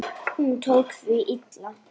Hún tók því illa.